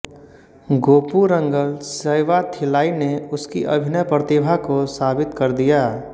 गोपुरंगल सैवाथिल्लाई ने उसकी अभिनय प्रतिभा को साबित कर दिया